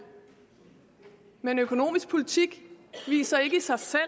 men økonomisk politik viser ikke i sig selv